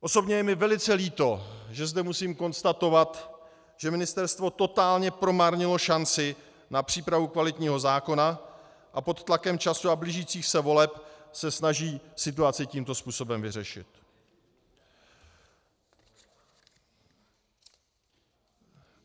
Osobně je mi velice líto, že zde musím konstatovat, že ministerstvo totálně promarnilo šanci na přípravu kvalitního zákona a pod tlakem času a blížících se voleb se snaží situaci tímto způsobem vyřešit.